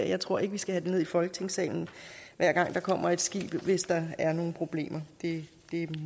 jeg tror ikke vi skal have det ned i folketingssalen hver gang der kommer et skib hvis der er nogen problemer det